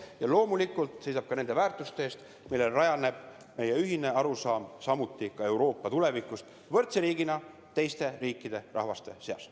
Ja loomulikult seisab ta ka nende väärtuste eest, millel rajaneb meie ühine arusaam, kuidas olla ka tulevikus võrdne riik teiste Euroopa riikide ja rahvaste seas.